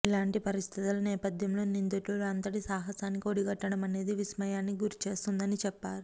ఇలాంటి పరిస్థితుల నేపథ్యంలో నిందితుడు అంతటి సాహసానికి ఒడిగట్టడం అనేది విస్మయానికి గురిచేస్తోందని చెప్పారు